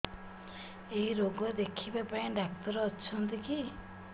ଏଇ ରୋଗ ଦେଖିବା ପାଇଁ ଡ଼ାକ୍ତର ଅଛନ୍ତି କି